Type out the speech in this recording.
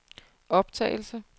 optagelse